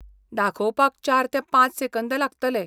दाखोवपाक चार ते पांच सेकंद लागतले.